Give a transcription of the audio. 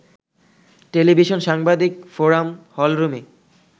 television সাংবাদিক forum hall রুমে